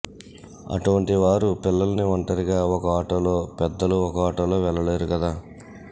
అటువంటి వారు పిల్లల్ని ఒంటరిగా ఒక ఆటోలో పెద్దలు ఒక ఆటోలో వెళ్లలేరు కదా